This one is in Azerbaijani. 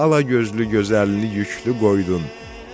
Alagözlü gözəlimi yüklü qoydun.